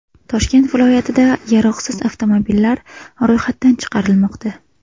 Toshkent viloyatida yaroqsiz avtomobillar ro‘yxatdan chiqarilmoqda.